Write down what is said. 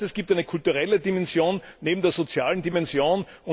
Das heißt, es gibt eine kulturelle Dimension neben der sozialen Dimension.